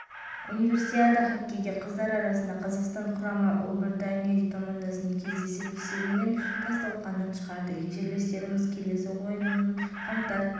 кездесуде карина фельзинк малика алдабергенова ажар хамимульдинова ғалия нұрғалиева бұлбұл қартанбаева меруерт рысбек пернеш әшімова анастасия орлова мадина тұрсынова және аида